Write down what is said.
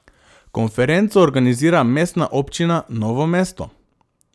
Konferenco organizira Mestna občina Novo mesto.